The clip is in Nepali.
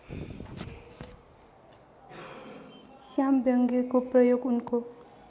श्यामव्यङ्ग्यको प्रयोग उनको